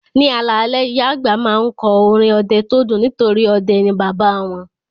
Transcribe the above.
Ní alalẹ́, ìyá àgbà máa ń kọ́ orin ọdẹ tó dùn nítorí ọdẹ ni bàbá wọn